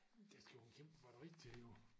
Der skal jo en kæmpe batteri til jo